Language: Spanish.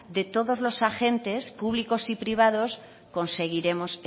de todos los agentes públicos y privados conseguiremos